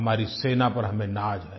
हमारी सेना पर हमें नाज़ है